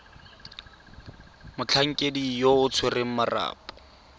motlhankedi yo o tshwereng marapo